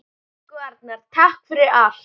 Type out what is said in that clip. Elsku Arnar, takk fyrir allt.